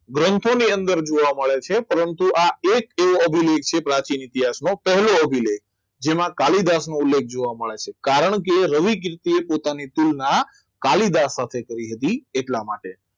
ગ્રંથોની અંદર જોવા મળે છે પરંતુ આ એક એવો અભિલેખ છે પ્રાચીન ઇતિહાસનો પહેલો અભિલેખ જેમાં કાલિદાસનો ઉલ્લેખ જોવા મળે છે કારણ કે રવિ કીર્તિ એ પોતાની પ્રેરણા કાલિદાસ સાથે કરી હતી એટલા માટે